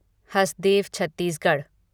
Hasdeo Chhattisgarh